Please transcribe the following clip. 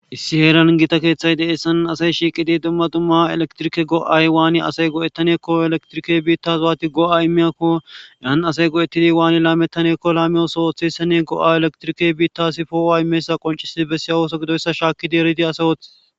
issi heeran gita keeththay deessan asay shiiqidi dumma dumma elektirike go7ay waani asay go7ettaneekko elektrike biitta zwaati go7a imeyakko yan asay go7etidi waani laamettaneekko laamiyosohoththesene go7a elektirike biittasi foooa imeessa qoncisii bessiyawooso gidoyssa shaakki dieridi asawoth